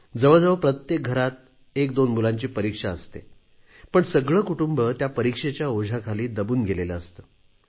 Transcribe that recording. जवळजवळ प्रत्येक घरात एकदोन मुलांची परीक्षा असते पण सगळे कुटुंब त्या परीक्षेच्या ओझ्याखाली दबून गेलेले असते